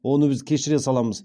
оны біз кешіре саламыз